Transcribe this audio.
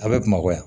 A bɛ bamakɔ yan